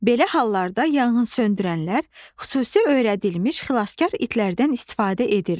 Belə hallarda yanğınsöndürənlər xüsusi öyrədilmiş xilaskar itlərdən istifadə edirlər.